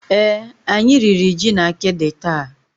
Èé, anyị riri ji na akidi taa.